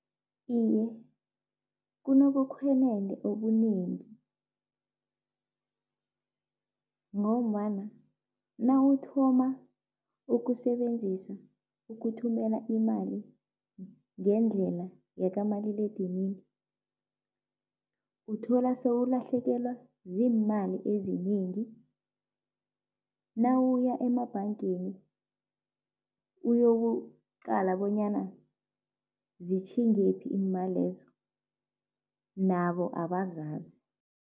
Iye, kunobukhwenende obunengi ngombana nawuthoma ukusebenzisa ukuthumela imali ngendlela yakamaliledinini uthola sewulahlekelwa ziimali ezinengi, nawuya emabhangeni uyokuqala bonyana zitjhingephi iimalezo, nabo abazazi.